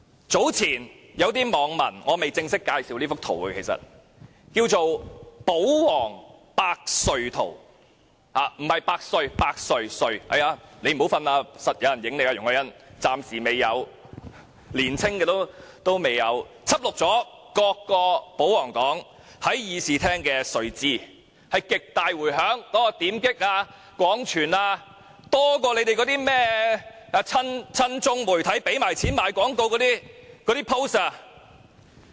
早前，有些網民製作了這幅圖，這幅圖名為"保皇百睡圖"，不是"百歲"，是"百睡"——容海恩議員不要睡覺，一定會有人拍你的；年輕的議員未睡覺——輯錄了各個保皇黨議員在會議廳的睡姿，引來極大迴響，點擊及分享的數字比親中媒體付錢賣廣告的帖子還要多。